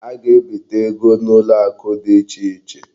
A ga-ebite ego n'ụlọakụ dị ichè iche.